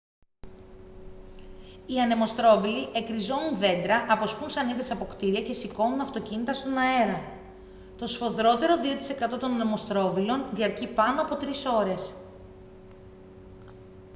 οι ανεμοστρόβιλοι εκριζώνουν δέντρα αποσπούν σανίδες από κτίρια και σηκώνουν αυτοκίνητα στον αέρα το σφοδρότερο 2% των ανεμοστρόβιλων διαρκεί πάνω από τρεις ώρες